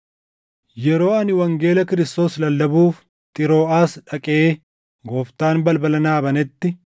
Yeroo ani wangeela Kiristoos lallabuuf Xirooʼaas dhaqee Gooftaan balbala naa banetti,